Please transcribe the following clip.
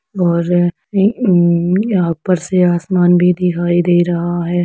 और इ अ यहाँ पर से आसमान भी दिखाइ दे रहा है।